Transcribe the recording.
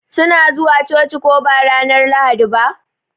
Su na zuwa coci ko ba ranar Lahadi ba?